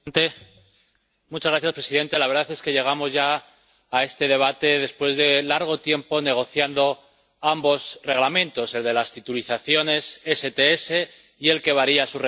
Señor presidente, la verdad es que llegamos ya a este debate después de largo tiempo negociando ambos Reglamentos, el de las titulizaciones STS y el que varía sus requerimientos de capital.